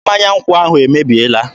Mmanya nkwụ ahụ emebiela.